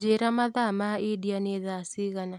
njĩĩra mathaa ma India nĩ thaa cigana